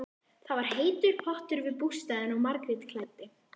Það var heitur pottur við bústaðinn og Margrét klæddi